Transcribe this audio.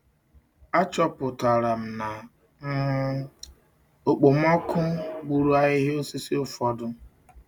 Achọpụtara m na um okpomọkụ gburu ahịhịa osisi ụfọdụ